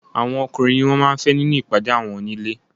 Àwọn ọkùnrin ni wọn máa ń fẹ́ nínú ìpàdé àwọn onílé.